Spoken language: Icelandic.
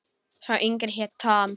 Sá yngri hét Tom.